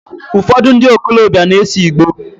Ufodu ndi okolobia na ese Igboo